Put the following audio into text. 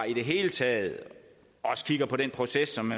i det hele taget også kigger på den proces som